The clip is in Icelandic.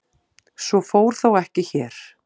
Svo fór þó ekki hér.